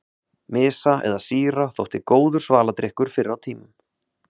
Mysa eða sýra þótti góður svaladrykkur fyrr á tímum.